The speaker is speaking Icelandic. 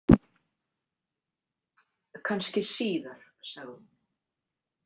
Kannski síðar, sagði hún.